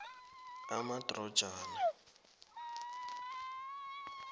amadrojana